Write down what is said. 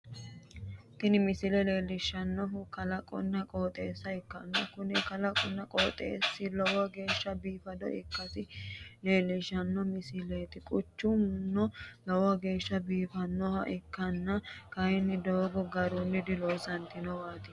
tini misile leellishshannohu kalaqonna qooxeessa ikkanna, kuni kalaqinna qooexeessi lowo geeshsha biifado ikkasi leelishshanno misileeti, quchumuno lowo geeshsha biifannoho, ikkollana kayinni doogo garunni diloonsooniwaati.